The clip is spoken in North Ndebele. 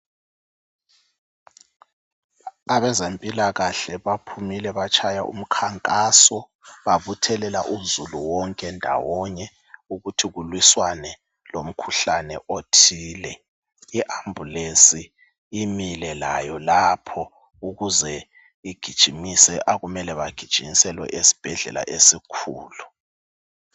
Abezempilakahle baphumile batshaye umkhankaso babuthelela uzulu wonke ndawonye ukuthi kulwiswane lomkhuhlane othile leambulensi imile layo lapho ukuze igijimise okumele bagijinyiselwe esibhedlela esikhulu.